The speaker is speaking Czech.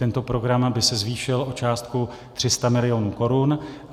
Tento program by se zvýšil o částku 300 mil. korun.